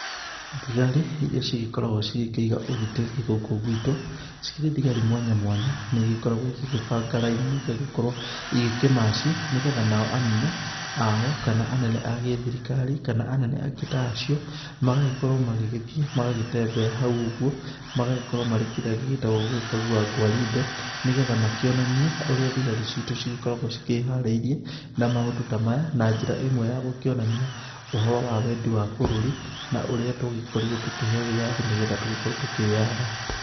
Thigari iria cigĩkoragwo cigĩkĩiga ũgitĩri gũkũ guitũ cikĩrĩ thigari mwanya mwanya, na igĩkoragwo igĩgĩbanga raini igagĩkorwo igĩkĩmaci nĩ getha nao anene ao kana anene a gĩthirikari kana anene angĩ ta acio. Magagĩkorwo magĩgĩthiĩ magagĩtembea hau ũguo magagĩkorwo marĩ kĩrĩa gĩgĩtagwo gũgĩkagua ngwarinde nĩ getha makĩonanie ũrĩa thigari citũ cigĩkoragwo cikĩharĩirie na maũndũ ta maya. Na njĩra ĩmwe ya gũkĩonania ũhoro wa wendi wa bũrũri na ũrĩa twagĩkorirwo tũkĩheo wĩyathi nĩ getha tũgĩkorwo tũkĩyatha.